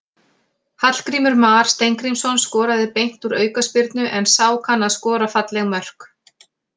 Hallgrímur Mar Steingrímsson skoraði beint úr aukaspyrnu, en sá kann að skora falleg mörk.